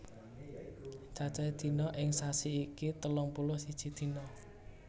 Cacahe dina ing sasi iki telung puluh siji dina